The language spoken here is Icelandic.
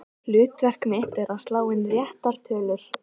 Hlutverk mitt er að slá inn réttar tölur.